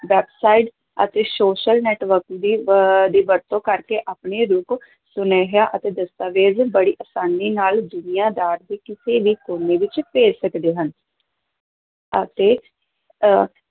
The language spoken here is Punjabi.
Website ਅਤੇ social networking ਦੀ ਅਹ ਦੀ ਵਰਤੋਂ ਕਰਕੇ ਆਪਣੇ ਰੂਪ ਸੁਨੇਹਾ ਅਤੇ ਦਸਤਾਵੇਜ ਬੜੀ ਆਸਾਨੀ ਨਾਲ ਦੁਨੀਆਂ ਦਾ ਕਿਸੇ ਵੀ ਕੋਨੇ ਵਿੱਚ ਭੇਜ ਸਕਦੇ ਹਾਂ ਅਤੇ ਅਹ